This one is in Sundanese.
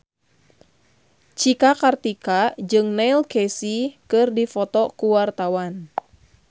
Cika Kartika jeung Neil Casey keur dipoto ku wartawan